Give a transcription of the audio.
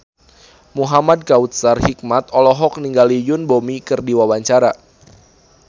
Muhamad Kautsar Hikmat olohok ningali Yoon Bomi keur diwawancara